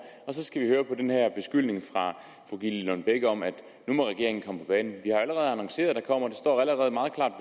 og så skal vi høre på den her beskyldning fra fru gitte lillelund bech om at nu må regeringen komme på banen vi har allerede annonceret at der kommer en står allerede meget klart